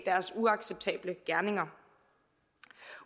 deres uacceptable gerninger